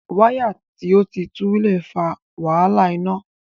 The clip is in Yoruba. Wáyà tí o tí tú le fa wàhálà iná.